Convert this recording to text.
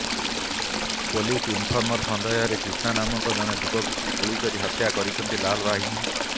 police informer ସନ୍ଦେହରେ କ୍ରିଷ୍ନା ନାମକ ଜଣେ ଯୁବକଙ୍କୁ ଗୁଳି କରି ହତ୍ୟା କରିଛନ୍ତି ଲାଲ୍ ବାହିନୀ